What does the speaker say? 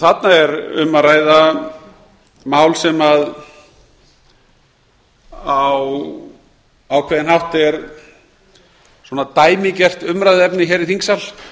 þarna er um að ræða mál sem á ákveðinn hátt er dæmigert umræðuefni hér í þingsal